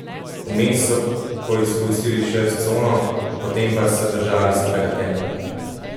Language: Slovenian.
Vmes so poizkusil še s cono, potem pa se držali svojega tempa.